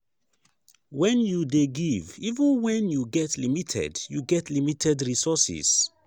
when you dey give even when you get limited you get limited resources